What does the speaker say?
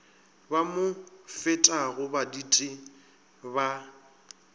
ba mo fetago baditi ba